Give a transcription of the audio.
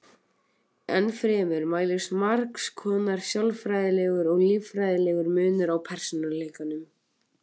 Ennfremur mælist margs konar sálfræðilegur og líffræðilegur munur á persónuleikunum.